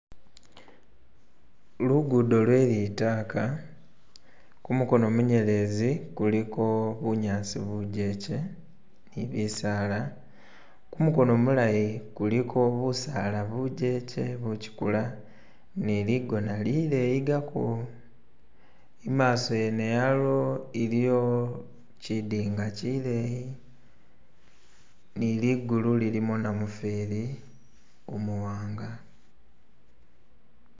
lugudo lwelitaka kumukono munyelezi kuliko bunyasi bujeche ni bisaala kumukono mulayi kuliko busala bujeche buchikula niligona lileyigako imaso yene yalwo iliyo chidinga chileyi niligulu lilimu namufeli umuwanga